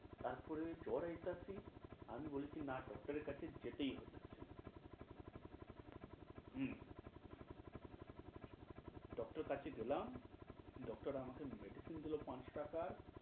তারপরে জ্বর আইতাছি, আমি বলছি না~তো doctor এর কাছে যেতেই হইতাছে। হু doctor কাছে গেলাম, doctor আমাকে medicine দিলো পাঁচ টাকার।